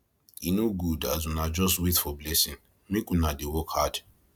e no good as una just wait for blessing make una dey work hard